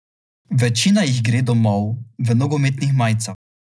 Večina jih gre domov v nogometnih majicah.